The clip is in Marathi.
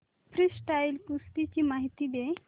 फ्रीस्टाईल कुस्ती ची माहिती दे